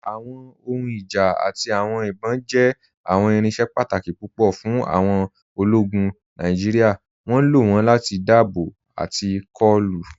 Awọn ohùn ìjá àti awọn ìbọn jẹ́ awọn irinṣẹ̀ pàtàkì pupọ̀ fún awọn òlógún Nàìjíríà. Wọn ló wọn láti dáàbòbò àti kọ̀lù.